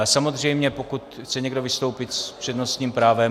Ale samozřejmě pokud chce někdo vystoupit s přednostním právem...?